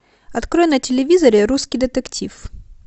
открой на телевизоре русский детектив